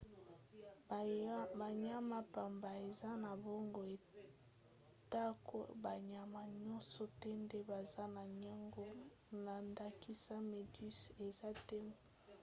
banyama pamba eza na boongo atako banyama nyonso te nde baza na yango; na ndakisa méduse eza te na boongo